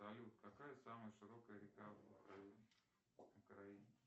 салют какая самая широкая река в украине